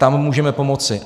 Tam můžeme pomoci.